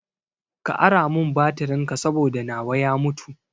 Ka ara mun batirin ka saboda nawa ya mutu